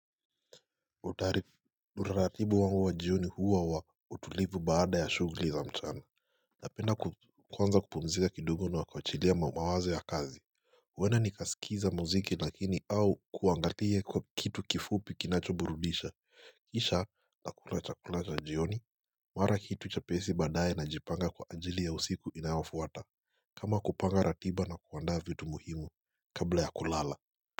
Utari, utaratibu wangu wa jioni huwa wa utulivu baada ya shughuli za mchana. Napenda ku kuanza kupumzika kidogo na wa kuachilia mawazo ya kazi. Uwenda nikaskiza mziki lakini au kuangalia kwa kitu kifupi kinachoburudisha. Kisha nakula chakula cha jioni, mara kitu chepesi baadaye najipanga kwa ajili ya usiku inayofuata. Kama kupanga ratiba na kuandaa vitu muhimu kabla ya kulala.